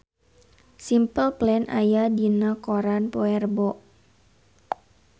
Simple Plan aya dina koran poe Rebo